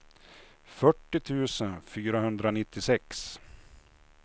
fyrtio tusen fyrahundranittiosex